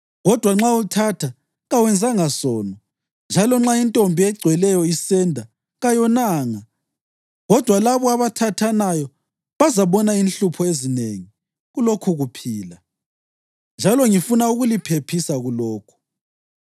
Kodwa nxa uthatha, kawenzanga sono njalo nxa intombi egcweleyo isenda kayonanga. Kodwa labo abathathanayo bazabona inhlupho ezinengi kulokhukuphila, njalo ngifuna ukuliphephisa kulokhu.